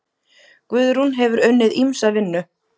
Guðrún hefur unnið ýmsa vinnu.